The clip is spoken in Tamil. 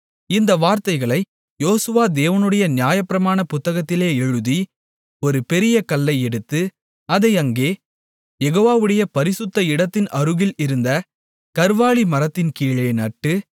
இந்த வார்த்தைகளை யோசுவா தேவனுடைய நியாயப்பிரமாண புத்தகத்தில் எழுதி ஒரு பெரிய கல்லை எடுத்து அதை அங்கே யெகோவாவுடைய பரிசுத்த இடத்தின் அருகில் இருந்த கர்வாலி மரத்தின்கீழே நட்டு